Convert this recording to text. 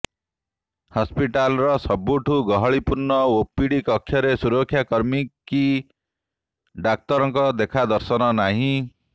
ହସ୍ପିଟାଲର ସବୁଠୁ ଗହଳିପୁର୍ଣ୍ଣ ଓପିଡି କକ୍ଷରେ ସୁରକ୍ଷାକର୍ମୀ କି ଡାକ୍ତରଙ୍କର ଦେଖାଦର୍ଶନ ନାହିଁ